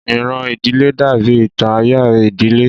Ìran ìdílé dàbí ìtàn ayé ìdílé